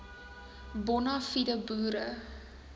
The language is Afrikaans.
bona fide boere